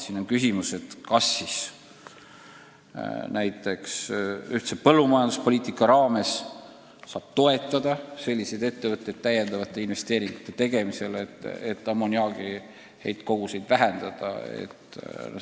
Näiteks on küsimus, kas ühise põllumajanduspoliitika raames saab toetada selliseid ettevõtteid täiendavate investeeringute tegemisel, et ammoniaagi heitkoguseid vähendada.